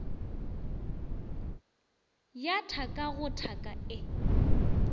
ya thaka go thaka e